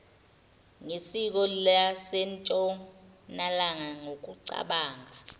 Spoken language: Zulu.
ngesiko lasentshonalanga ngokucabanga